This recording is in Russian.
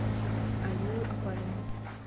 алию опарину